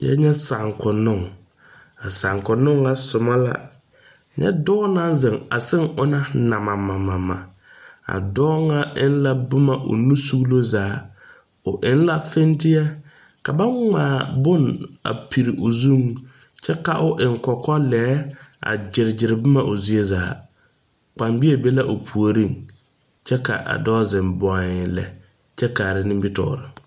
Nyɛ saakonnoŋ a saakonnoŋ ŋa soma la nyɛ dɔɔ naŋ zeŋ a seŋ ona namamamama a dɔɔ ŋa eŋ la boma o nu suglo zaa o eŋ la fenteɛ ka bonŋmaa bone piri o zuŋ kyɛ ka o eŋ kɔkɔlɛɛ a gyere gyere boma o zie zaa kpanbeɛ be la o puoriŋ kyɛ k,a dɔɔ zeŋ bɔeŋ lɛ kyɛ kaara nimitɔɔre.